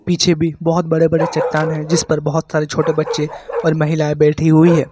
पीछे भी बोहोत बड़े-बड़े चट्टान हैं जिस पर बोहोत सारे छोटे बच्चे और महिलाएं बैठी हुई हैं।